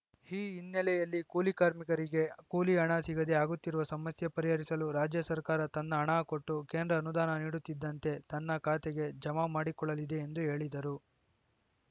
ಈ ಹಿನ್ನೆಲೆಯಲ್ಲಿ ಕೂಲಿ ಕಾರ್ಮಿಕರಿಗೆ ಕೂಲಿ ಹಣ ಸಿಗದೇ ಆಗುತ್ತಿರುವ ಸಮಸ್ಯೆ ಪರಿಹರಿಸಲು ರಾಜ್ಯ ಸರ್ಕಾರ ತನ್ನ ಹಣ ಕೊಟ್ಟು ಕೇಂದ್ರ ಅನುದಾನ ನೀಡುತ್ತಿದ್ದಂತೆ ತನ್ನ ಖಾತೆಗೆ ಜಮಾ ಮಾಡಿಕೊಳ್ಳಲಿದೆ ಎಂದು ಹೇಳಿದರು